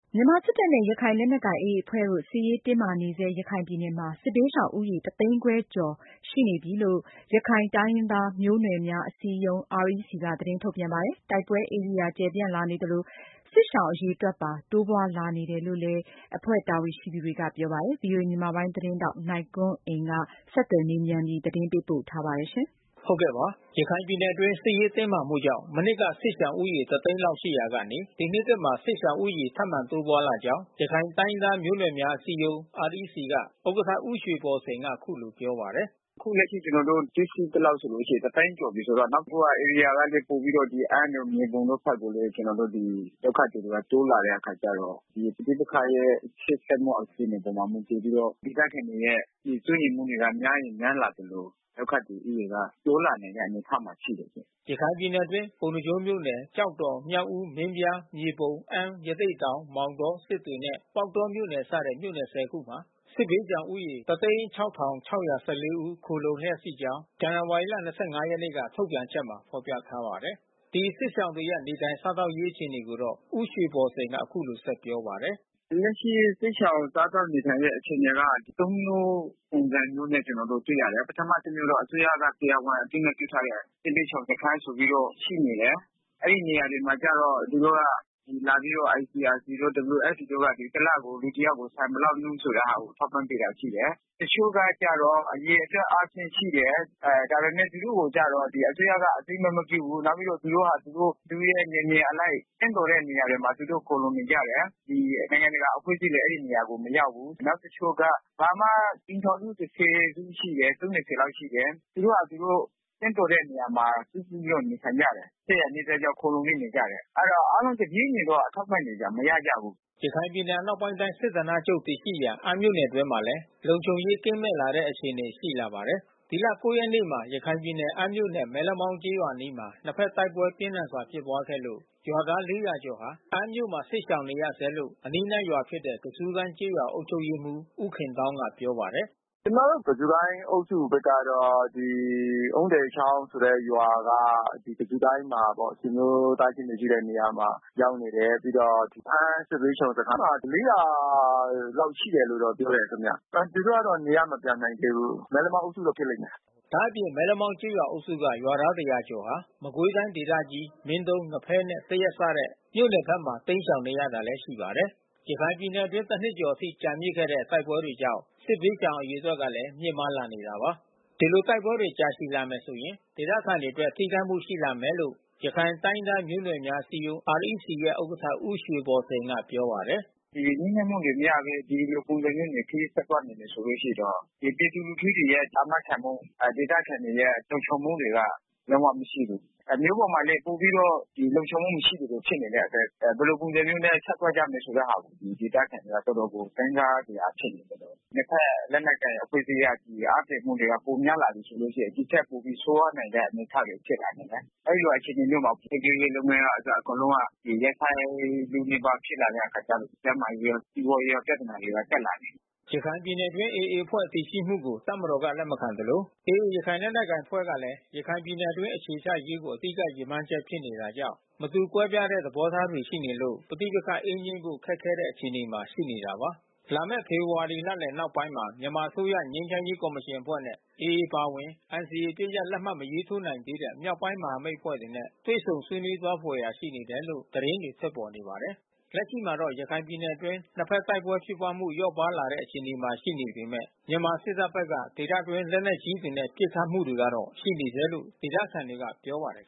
မြန်မာစစ်တပ်နဲ့ ရခိုင်လက်နက်ကိုင်AAအဖွဲ့တို့ စစ်ရေးတင်းမာနေဆဲရခိုင်ပြည်နယ်မှာစစ်ဘေးရှောင်ဦးရေ တစ်သိန်း ခြောက်ထောင်ကျော်ရှိနေပြီလို့ ရခိုင်တိုင်းရင်းသား မျိုးနွယ်များ အစည်းအရုံး က သတင်းထုတ်ပြန် ပါတယ်။ တိုက်ပွဲဧရိယာ ကျယ်ပြန့် လာနေသလို စစ်ရှောင် အရေအတွက် ပါ တိုးလာနေတယ်လို့ လည်း REC တာဝန်ရှိသူ တွေက ပြောပါတယ်။ဗွီအိုအေမြန်မာပိုင်းသတင်းထောက်နိုင်ကွန်းအိန်ကနေ ဆက်သွယ်မေးမြန်း သတင်းပေးပို့ထားပါတယ်။ ရခိုင်ပြည်နယ်အတွင်း စစ်ရေးတင်းမာမှုကြောင့် မနှစ်က စစ်ရှောင်ဦးရေတသိန်းလောက်ရှိရာကနေ ဒီနှစ်သစ်မှာ စစ် ရှောင်ဦးရေထပ်မံတိုးပွားလာကြောင်း ရခိုင်တိုင်းရင်း သားမျိုးနွယ်များအစည်းအရုံး မှ ဥက္ကဋ္ဌ ဦးရွှေဘော်စိန်က အခုလိုပြောပါတယ်။ “လက်ရှိကျွန်တော်တို့တွေ့ရှိသလောက်ဆိုရင် တသိန်းကျော်ပြီးဆိုတော့ နောက်တခုကဧရိယာကလဲ ပိုပြီးတော့ အမ်းတို့ မြေပုံဘက်ကိုလဲ ကျွန်တော်တို့ဒီ ဒုက္ခသည်တွေကလဲ တိုးလာတဲ့အခါကျတော့ ပဋိပက္ခရဲ့ရှေ့ဆက်မှုအခြေအနေ အပေါ် မှာ မူတည်ပြီးတော့ ဒေသခံတွေရဲ့စိုးရိမ်မှုတွေက များရင်များလာသလို ဒုက္ခသည်ဦးရေက တိုးလာနိုင်တဲ့ အနေအထား မှာရှိတယ်။” ရခိုင် မင်းပြားဒေသ တိုက်ပွဲ ပြင်းထန်တဲ့သတင်းကို ဖတ်ရှုနိုင်ပါပြီ။ ရခိုင်ပြည်နယ်အတွင်း ပုဏ္ဏားကျွန်းမြို့နယ်၊ ကျောက်တော် မြောက်ဦး၊ မင်းပြား မြေပုံမြို့၊ အမ်း ရသေ့တောင် မောင်တော စစ်တွေနဲ့ ပေါက်တောမြို့နယ်စတဲ့ မြို့နယ် ၁ဝ ခုမှာ စစ်ဘေးရှောင်ဦးရေ ၁၀၆၆၁၄ ဦး ခိုလှုံလျက်ရှိနေကြောင်း ဇန်နဝါရီလ ၂၅ ရက်နေ့က ထုတ်ပြန်ချက်မှာဖော်ပြထားပါတယ်။ ဒီစစ်ရှောင်တွေရဲ့ နေထိုင်စားသောက်ရေးအခြေအနေကိုတော့ ဦးရွှေဘော်စိန်က အခုလို ဆက်ပြောပါတယ်။ “လက်ရှိစစ်ရှောင်စားသောက်နေထိုင်ရေးအခြေအနေက မျိုးပုံစံမျိုးနဲ့ကျွန်တော်တို့တွေ့ရတယ်။ ပထမတမျိုးက အစိုးရက တရားဝင်အသိမှတ်ပြုထားတဲ့ စစ်ဘေးရှောင်စခန်း ဆိုပြီးတော့ ရှိနေတယ်။ အဲဒီနေရာမှာကျတော့ သူတို့က လာပြီးတော့ ICRC တို့ WFP တို့က တလကို လူတယောက်က ဆန်ဘယ်လောက်နှုန်းဆိုပြီးတော့ ထောက်ပံ့ပေးတာ ရှိတယ်။ တချို့ကကျတော့ အရေအတွက် အားဖြင့်ရှိတယ်။ ဒါပေမဲ့သူတို့ကိုကျတော့ အစိုးရကအသိမှတ်မပြုဘူး။ နောက်ပြီးတော့သူတို့ဟာသူတို့ မိမိရဲ့နယ်မြေအလိုက် သင့်တော်တဲ့နေရာမှာ သူတို့ခိုလှုံနေကြတယ်။ နိုင်ငံတကာ အဖွဲ့အစည်းတွေ အဲဒီနေရာကိုမရောက်ဘူး။ နောက်တချို့က အိမ်ထောင်စုအစု ရှိတယ် အစု ရှိတယ်။ သူတို့ဟာ သူတို့ သင့်တော်တဲ့နေရာမှာ စုစည်းပြီးတော့နေထိုင်ကြတယ်။ နီးစပ်ရာ နီးစပ်ကြောင်း ခိုလှုံပြီး နေထိုင်ကြတယ်။ အဲဒီတော့ အားလုံးတပြေးညီတော့ အထောက်ပံ့တွေတော့မရကြဘူး။” ရခိုင်ပြည်နယ် အနောက်ပိုင်းတိုင်းစစ်ဌာနချုပ်တည်ရှိရာ အမ်းမြို့နယ်အတွင်းမှာလဲ လုံခြုံရေးကင်းမဲ့ လာတဲ့အခြေအနေ ရှိလာပါတယ်။ ဒီလ ၉ရက်နေ့မှာ ရခိုင်ပြည်နယ်၊ အမ်းမြို့နယ် မဲလမောင်းကျေးရွာအနီးမှာ နှစ်ဘက် တိုက်ပွဲပြင်းထန်စွာ ဖြစ်ပွားခဲ့လို့ ရွာသား ကျော် အမ်းမြို့မှာ စစ်ရှောင်နေရဆဲလို့ အနီးနားရွာဖြစ်တဲ့ ကဇူးကိုင်းကျေးရွာ အုပ်ချုပ်ရေးမှူး ဦးခင်သောင်းကပြောပါတယ်။ “ကျွန်တော်တို့ ကဇူးကိုင်းအုပ်စုဖက်ကတော့ အုန်းတည်ချောင်းဆိုတဲ့ရွာက ကဇူးကိုင်းမှာပေါ့ သူတို့သားချင်းတွေရှိတဲ့ နေရာမှာ ရောက်နေတယ် ပြီးတော့ အမ်းစစ်ဘေးရှောင်စခန်းကို ရောက်နေတယ်။ အမ်းမှာ လောက်ရှိတယ် လို့ပြောတယ်ခင်ဗျ။ သူတို့ကနေရပ်မပြန်နိုင်သေးဘူး။ ဒလက်အုပ်စုက မဲလမောင်းအုပ်စုကဖြစ်လိမ့်မယ်။” ဒါ့အပြင် မဲလမောင်းကျေးရွာအုပ်စုက ရွာသား ကျော်ဟာ မကွေးတိုင်းဒေသကြီး မင်းတုံး၊ ငဖဲနဲ့ သရက်စတဲ့ မြို့နယ်ဘက်မှာတိမ်းရှောင်နေရတာလဲရှိပါတယ်။ ရခိုင်ပြည်နယ်အတွင်း နှစ်ကျော်အထိ ကြာမြင့်နေတဲ့တိုက်ပွဲတွေကြောင့် စစ်ဘေးရှောင် အရေအတွက်လည်း မြင့်မား လာနေတာပါ။ ဒီလိုတိုက်ပွဲတွေကြာရှည်လာမယ်ဆိုရင် ဒေသခံတွေအတွက် ထိခိုက်မှုတွေရှိလာမယ်လို့ ရခိုင်တိုင်းရင်း သားမျိုးနွယ် များ အစည်းအရုံး မှ ဥက္ကဋ္ဌ ဦးရွှေဘော်စိန်ကပြောပါတယ်။ “ဒီငြိမ်းချမ်းမှုတွေမရသေးဘူး။ ဒီလိုပုံစံမျိုးသာခရီးဆက်သွားမယ်ဆိုလို့ရှိရင်တော့ ပြည်သူလူထုတွေရဲ့အာမခံမှု ၊ ဒေသခံ တွေရဲ့လုံခြုံမှုတွေက လုံးဝမရှိဘူး။ မြို့ပေါ်မှာလည်း ပိုပြီးတော့ လုံခြုံမှုမရှိသလို ဖြစ်နေတဲ့အတွက် ဘယ်လိုပုံစံမျိုးနဲ့ ဆက် သွားရမလဲဆိုတဲ့ဟာကို ဒေသခံတွေက တော်တော်ကို စဉ်းစားစရာဖြစ်နေတယ်။ နှစ်ဘက်လက်နက်ကိုင်အဖွဲ့အစည်းက နှစ်ဘက်အားပြိုင်မှုက ပိုများလာပြီးဆိုလို့ရှိရင် ဒီထက်ပိုပြီးဆိုးဝါးနိုင်တဲ့အနေအထားတွေ ဖြစ်လာနိုင်တယ်။ အဲဒီလို အခြေ အနေမျိုးမှာ ဖွံ့ဖြိုးရေး လုပ်ငန်းကအစ ကုန်လုံးက ရပ်ဆိုင်းလုနီးပါးဖြစ်လာတဲ့အခါကျလို့ရှိရင် ကျန်းမာရေးရော စီးပွားရေး ရော ပြဿနာတွေကတက်လာမယ်။” ရခိုင်ပြည်နယ်အတွင်းAAအဖွဲ့တည်ရှိမှုကို တပ်မတော်ကလက်မခံသလို AAရခိုင်လက်နက်ကိုင် အဖွဲ့ကလဲ ရခိုင်ပြည် နယ်အတွင်းအခြေချရေးကို အဓိကရည်မှန်းချက်ဖြစ်နေတာကြောင့် မတူကွဲပြားတဲ့ သဘောထားတွေရှိနေလို့ ပဋိပက္ခ အေးငြိမ်းဖို့ခက်ခဲတဲ့အခြေအနေမှာရှိနေတာပါ။ လာမယ့် ဖေဖေါ်ဝါရီလလယ်နောက်ပိုင်းမှာ မြန်မာအစိုးရြငိမ်းချမ်းရေးကော်မရှင်အဖွဲ့နဲ့ AAအပါအဝင် NCAအပစ်ရပ် စာချုပ် လက်မှတ်မရေးထိုးနိုင်သေးတဲ့ မြောက်ပိုင်းမဟာမိတ်အဖွဲ့တွေနဲ့ တွေ့ဆုံဆွေးနွေးသွားဖွယ် ရှိနေတယ်လို့ သတင်းတွေထွက်ပေါ်နေပါတယ်။ လက်ရှိမှာတော့ ရခိုင်ပြည်နယ်အတွင်းနှစ်ဘက်တိုက်ပွဲဖြစ်ပွားမှု လျော့ပါးလာတဲ့ အခြေအနေရှိနေပေမဲ့ မြန်မာစစ်တပ်ဘက် က ဒေသအတွင်း လက်နက်ကြီးတွေနဲ့ ပစ်ခတ်မှုတွေကတော့ ရှိနေဆဲလို့ဒေသခံတွေကပြောပါတယ်